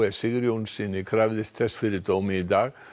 Sigurjónssyni krafðist þess fyrir dómi í dag